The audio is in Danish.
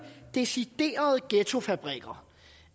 deciderede ghettofabrikker